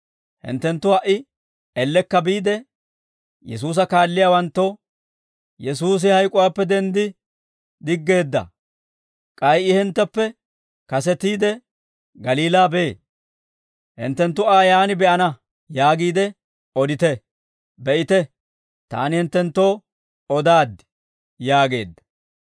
Hinttenttu ha"i ellekka biide, Yesuusa kaalliyaawanttoo, ‹Yesuusi hayk'uwaappe denddi diggeedda. K'ay I hintteppe kasetiide, Galiilaa bee; hinttenttu Aa yaan be'ana› yaagiide odite. Be'ite, taani hinttenttoo odaaddi» yaageedda.